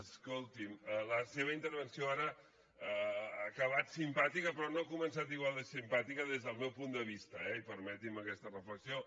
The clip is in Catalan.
escolti’m la seva intervenció ara ha acabat simpàtica però no ha començat igual de simpàtica des del meu punt de vista eh i permeti’m aquesta reflexió